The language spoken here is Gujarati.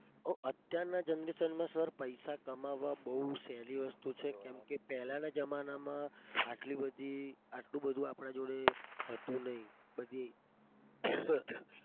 ઓહ અત્યારના generation માં sir પૈસા કમાવા બઉ સહેલી વસ્તુ છે. કેમ કે પેહલાના જમાનામાં આટલી બધી આટલું બધું આપણા જોડે હતું નહીં પછી